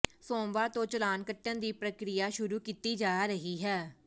ਸੋਮਵਾਰ ਤੋਂ ਚਲਾਨ ਕੱਟਣ ਦੀ ਪ੍ਰਕਿਰਿਆ ਸ਼ੁਰੂ ਕੀਤੀ ਜਾ ਰਹੀ ਹੈ